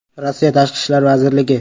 Rossiya Tashqi ishlar vazirligi.